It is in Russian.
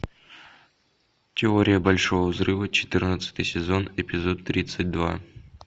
теория большого взрыва четырнадцатый сезон эпизод тридцать два